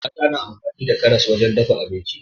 Mata na amfani da karas wajen dafa abinci